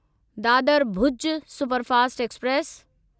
Dadar Bhuj superfast express